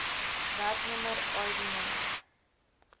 werknemer id nr